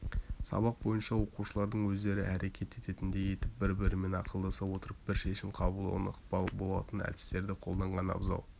сабақ бойы оқушылардың өздері әрекет ететіндей етіп бір-бірімен ақылдаса отырып бір шешім қабылдауына ықпал болатын әдістерді қолданған абзал